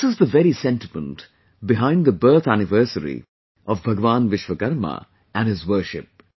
This is the very sentiment behind the birth anniversary of Bhagwan Vishwakarma and his worship